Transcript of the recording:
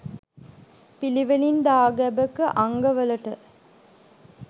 පිළිවෙලින් දාගැබක අංගවලට